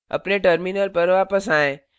अपने terminal पर वापस आएँ